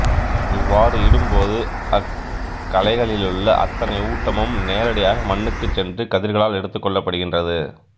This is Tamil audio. இவ்வாறு இடும்போது அக்களைகளிலுள்ள அத்தனை ஊட்டமும் நேரடியாக மண்ணுக்குச்சென்று கதிர்களால் எடுத்துக்கொள்ளப்படுகின்றது